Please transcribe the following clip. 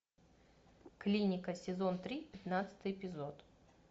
клиника сезон три пятнадцатый эпизод